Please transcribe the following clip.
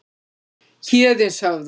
Héðinshöfða